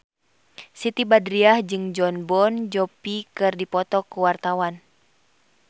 Siti Badriah jeung Jon Bon Jovi keur dipoto ku wartawan